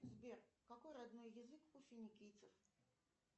сбер какой родной язык у финикийцев